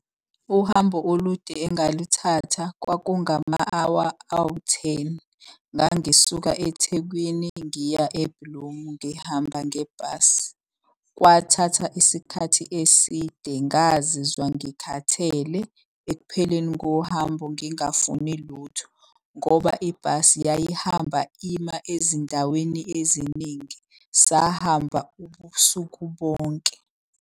Uhambo olude engalithatha, kwakungama-hour awu-ten. Ngangisuka eThekwini ngiya e-Bloem, ngihamba ngebhasi. Kwathatha isikhathi eside, ngazizwa ngikhathele ekupheleni kohambo ngingafuni lutho. Ngoba ibhasi yayihamba ima ezindaweni eziningi, sahamba ubusuku bonke.